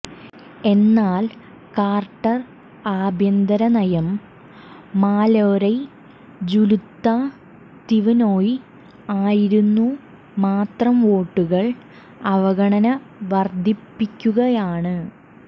എന്നാൽ കാർട്ടർ ആഭ്യന്തര നയം മലൊരെജുല്തതിവ്നൊയ് ആയിരുന്നു മാത്രം വോട്ടുകൾ അവഗണന വർധിപ്പിയ്ക്കുകയാണ്